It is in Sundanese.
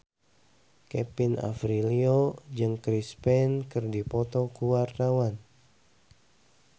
Kevin Aprilio jeung Chris Pane keur dipoto ku wartawan